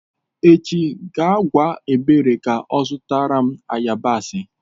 Echi gaa gwa ebere ka zụtara m yabasị.